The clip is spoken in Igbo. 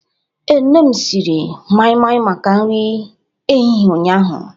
Ee, nne m siri mai-mai maka nri ehihie ụnyahụ.